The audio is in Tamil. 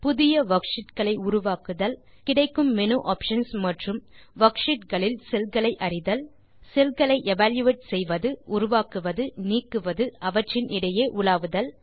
புதிய வர்க்ஷீட் களை உருவாக்க கிடைக்கும் மேனு ஆப்ஷன்ஸ் மற்றும் வர்க்ஷீட் களில் செல் களை அறிதல் செல் களை எவல்யூயேட் செய்வது உருவாக்குவது நீக்குவது அவற்றின் இடையே உலாவுதல்